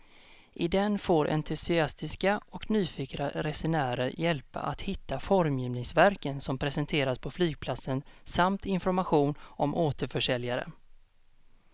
I den får entusiastiska och nyfikna resenärer hjälp att hitta formgivningsverken som presenteras på flygplatsen samt information om återförsäljare.